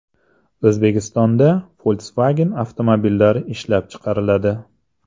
O‘zbekistonda Volkswagen avtomobillari ishlab chiqariladi .